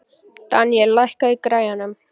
Daníel, lækkaðu í græjunum.